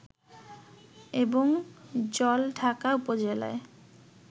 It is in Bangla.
এবং জলঢাকা উপজেলায়